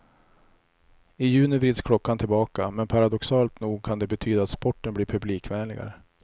I juni vrids klockan tillbaka, men paradoxalt nog kan det betyda att sporten blir publikvänligare.